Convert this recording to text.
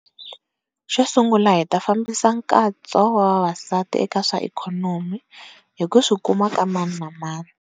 Xo sungula, hi ta fambisa nkatso wa vavasati eka swa ikhonomi hi ku swikuma ka mani na mani.